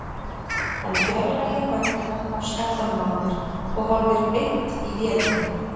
Hann fjarlægir höndina af skallanum á mér og horfir beint í vélina.